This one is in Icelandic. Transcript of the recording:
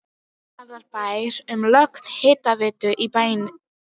Hafnarfjarðarbæjar um lögn hitaveitu í bæinn.